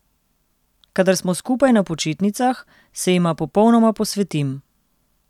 Kadar smo skupaj na počitnicah, se jima popolnoma posvetim.